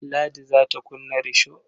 Ladi za ta kunna risho.